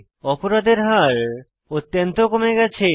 অপরাধের হার অত্যন্ত কমে গেছে